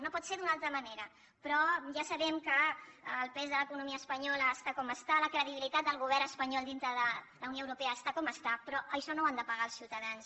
no pot ser d’una altra manera però ja sabem que el pes de l’economia espanyola està com està la credibilitat del govern espanyol dintre de la unió europea està com està però això no ho han de pagar els ciutadans